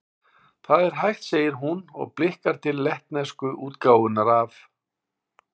Það er hægt, segir hún, og blikkar til lettnesku útgáfunnar af